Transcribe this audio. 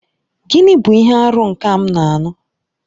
Gịnị bụ ihe arụ nke m na-anụ?